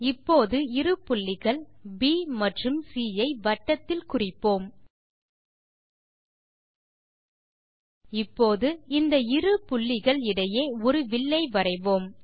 இப்போது இரு புள்ளிகள் ப் மற்றும் சி ஐ வட்டத்தில் குறிப்போம் இப்போது இந்த இரு புள்ளிகள் இடையே ஒரு வில்லை வரைவோம்